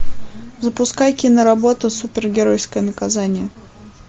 запускай киноработу супергеройское наказание